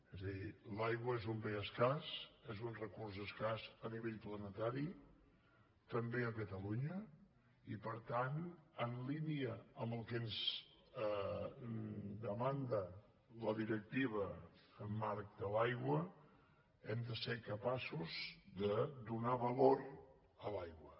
és a dir l’aigua és un bé escàs és un recurs escàs a nivell planetari també a catalunya i per tant en línia amb el que ens demanda la directiva marc de l’aigua hem de ser capaços de donar valor a l’aigua